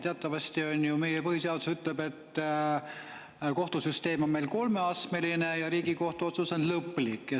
Teatavasti on ju, meie põhiseadus ütleb, et kohtusüsteem on meil kolmeastmeline ja Riigikohtu otsus on lõplik.